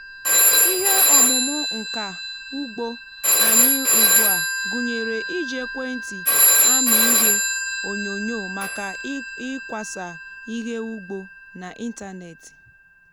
ihe ọmụmụ nka ugbo anyị ugbu a gụnyere iji ekwentị amị ihe onyonyo maka ịkwasa ihe ugbo n’ịntanetị.